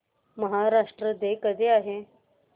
Maharashtra day कधी आहे